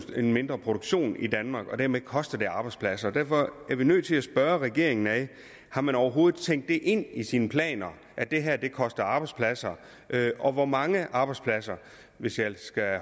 en mindre produktion i danmark og dermed koster det arbejdspladser derfor er vi nødt til at spørge regeringen om man overhovedet har tænkt det ind i sine planer at det her koster arbejdspladser og hvor mange arbejdspladser hvis jeg skal